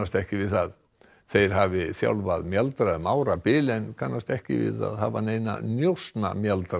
ekki við það þeir hafi þjálfað mjaldra um árabil en kannast ekki við að hafa neina